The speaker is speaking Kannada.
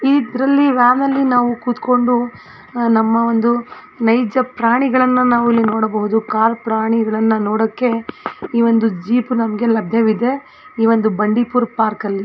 ಈದ್ರಲ್ಲಿ ವ್ಯಾನ್ ನಲ್ಲಿ ನಾವು ಕುತ್ಕೊಂಡು ಅ ನಮ್ಮ ಒಂದು ನೈಜ್ಯ ಪ್ರಾಣಿಗಳನ್ನ ನಾವು ಇಲ್ಲಿ ನೋಡಬಹುದು ಕಾಡ್ ಪ್ರಾಣಿಗಳನ್ನನೋಡಕ್ಕೆ ಈವಂದು ಜೀಪ್ ನಮ್ಮಗೆ ಲಭ್ಯವಿದೆ ಇವಂದು ಬಂಡೀಪುರ್ ಪಾರ್ಕ್ ಅಲ್ಲಿ.